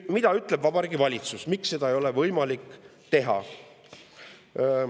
Mida ütleb Vabariigi Valitsus, miks seda ei ole võimalik teha?